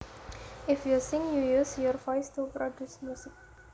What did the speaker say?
If you sing you use your voice to produce music